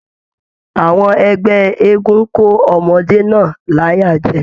Àwọn ẹgbẹ eégún ko ọmọde náà l'aya jẹ.